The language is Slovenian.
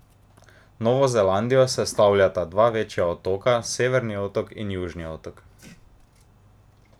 Novo Zelandijo sestavljata dva večja otoka, Severni otok in Južni otok.